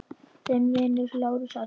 Þinn vinur, Lárus Arnar.